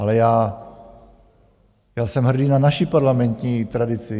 Ale já jsem hrdý na naši parlamentní tradici.